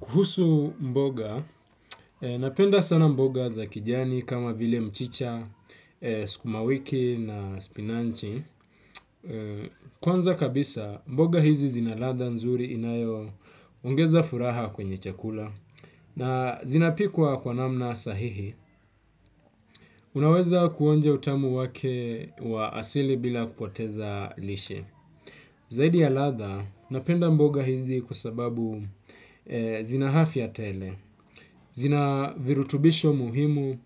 Kuhusu mboga, napenda sana mboga za kijani kama vile mchicha, sukumawiki na spinachi. Kwanza kabisa, mboga hizi zina ladha nzuri inayo ongeza furaha kwenye chakula. Na zinapikwa kwa namna sahihi, unaweza kuonja utamu wake wa asili bila kupoteza lishe. Zaidi ya ladha napenda mboga hizi kwa sababu zina afya tele. Zina virutubisho muhimu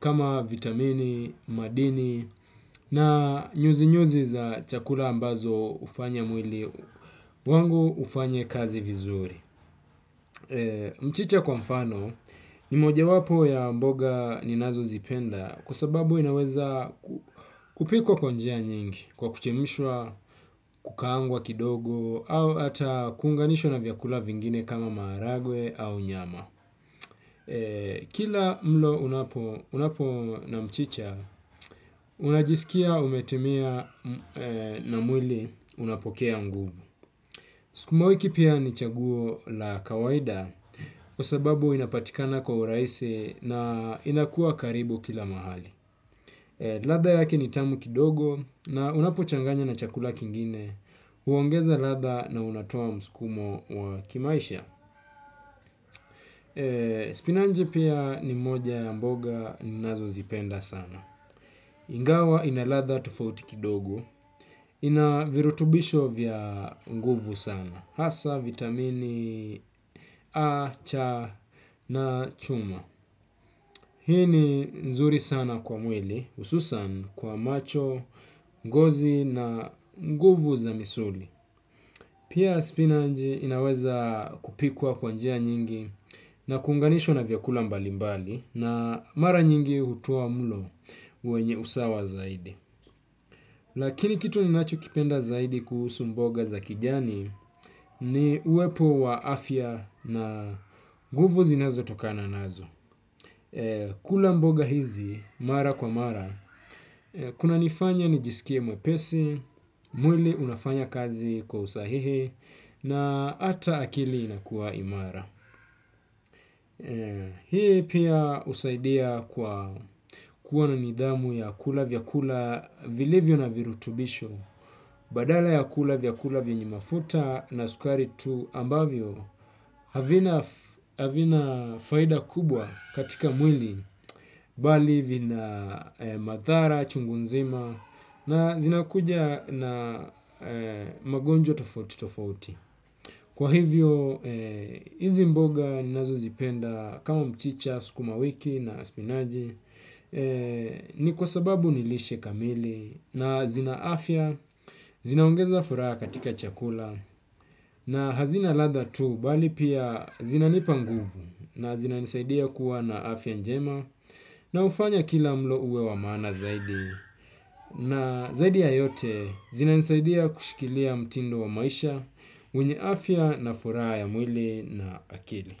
kama vitamini, madini na nyuzi-nyuzi za chakula ambazo hufanya mwili wangu ufanye kazi vizuri. Mchicha kwa mfano ni moja wapo ya mboga ninazo zipenda kwa sababu inaweza kupikwa kwa njia nyingi kwa kuchemshwa, kukaangwa kidogo au hata kuunganishwa na vyakula vingine kama maharagwe au nyama. Kila mlo unapo na mchicha, unajisikia umetimia na mwili unapokea nguvu. Sukuma wiki pia ni chaguo la kawaida kwa sababu inapatikana kwa urahisi na inakuwa karibu kila mahali. Ladha yake ni tamu kidogo na unapo changanya na chakula kingine, huongeza ladha na unatoa msukumo wa kimaisha. Spinachi pia ni moja ya mboga ninazo zipenda sana. Ingawa ina ladha tofauti kidogo. Ina virutubisho vya nguvu sana. Hasa, vitamini A, C na chuma. Hii ni nzuri sana kwa mwili, hususan kwa macho, ngozi na nguvu za misuli. Pia spinach inaweza kupikwa kwa njia nyingi na kuunganishwa na vyakula mbalimbali na mara nyingi hutoa mlo wenye usawa zaidi. Lakini kitu ninacho kipenda zaidi kuhusu mboga za kijani ni uwepo wa afya na nguvu zinazotokana nazo. Kula mboga hizi, mara kwa mara, kuna nifanya nijisikie mwepesi, mwili unafanya kazi kwa usahihi, na hata akili inakuwa imara. Hii pia husaidia kwa kuona nidhamu ya kula vyakula vilivyo na virutubisho. Badala ya kula vyakula vyenye mafuta na sukari tu ambavyo havina faida kubwa katika mwili bali vina madhara, chungu nzima na zinakuja na magonjwa tofauti tofauti. Kwa hivyo, hizi mboga ninazo zipenda kama mchicha, sukuma wiki na spinachi ni kwa sababu ni lishe kamili na zina afya zinaongeza furaha katika chakula na hazina ladha tu bali pia zinanipa nguvu na zina nisaidia kuwa na afya njema na hufanya kila mlo uwe wa maana zaidi. Na zaidi ya yote zina nisaidia kushikilia mtindo wa maisha wenye afya na furaha ya mwili na akili.